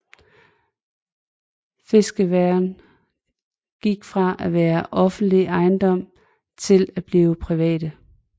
Fiskeværene gik fra at være offentlig ejendom til at blive private